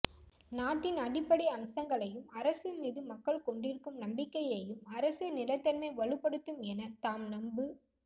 நாட்டின் அடிப்படை அம்சங்களையும் அரசுமீது மக்கள் கொண்டிருக்கும் நம்பிக்கையையும் அரசியல் நிலைத்தன்மை வலுப்படுத்தும் எனத் தாம் நம்பு